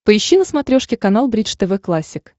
поищи на смотрешке канал бридж тв классик